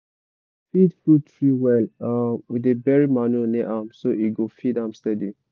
to feed fruit tree well um we dey bury manure near am so e go feed am steady.